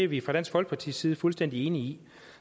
vi fra dansk folkepartis side fuldstændig enige i